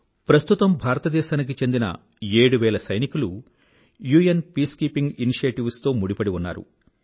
ప్రస్తుతం భారతదేశానికి చెందిన ఏడువేల సైనికులు యుఎన్ పీసుకీపింగ్ ఇనిషియేటివ్స్ తో ముడిపడి ఉన్నారు